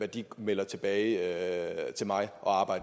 de melder tilbage til mig